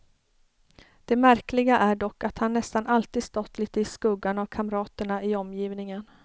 Det märkliga är dock att han nästan alltid stått lite i skuggan av kamraterna i omgivningen.